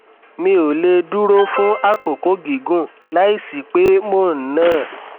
mi ò lè dúró fún àkókò gígùn láìsí pé mò ń nà á